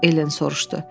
Ellen soruşdu.